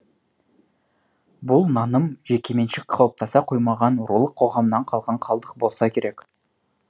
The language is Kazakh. бұл наным жекеменшік қалыптаса қоймаған рулық қоғамнан қалған қалдық болса керек